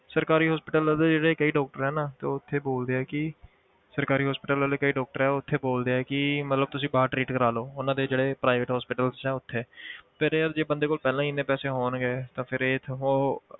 ਸਰਕਾਰੀ hospitals ਦੇ ਜਿਹੜੇ ਕਈ doctor ਹੈ ਨਾ ਤੇ ਉਹ ਉੱਥੇ ਬੋਲਦੇ ਆ ਕਿ ਸਰਕਾਰੀ hospital ਵਾਲੇ ਕਈ doctor ਹੈ ਉਹ ਉੱਥੇ ਬੋਲਦੇ ਆ ਕਿ ਮਤਲਬ ਤੁਸੀਂ ਬਾਹਰ treat ਕਰਵਾ ਲਓ ਉਹਨਾਂ ਦੇ ਜਿਹੜੇ private hospitals ਹੈ ਉੱਥੇ ਫਿਰ ਯਾਰ ਜੇ ਬੰਦੇ ਕੋਲ ਪਹਿਲਾਂ ਹੀ ਇੰਨੇ ਪੈਸੇ ਹੋਣਗੇ ਤਾਂ ਫਿਰ ਇਹ ਇੱਥੇ ਉਹ